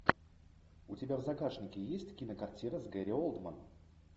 у тебя в загашнике есть кинокартина с гэри олдмен